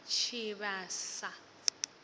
tshivhasa